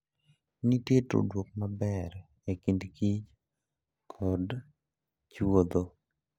Nitie tudruok maber e kind kich kod chuodho.